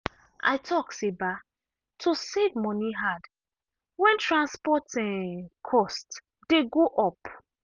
i talk say um to save money hard when transport um cost dey go up.